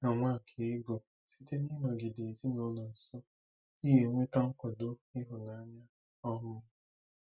Dịka Nwakaego, site n'ịnọgide ezinụlọ nso, ị ga-enweta nkwado ịhụnanya. um